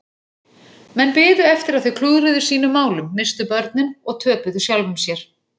Menn biðu eftir að þau klúðruðu sínum málum, misstu börnin og töpuðu sjálfum sér.